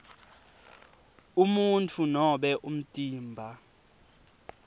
umuntfu nobe umtimba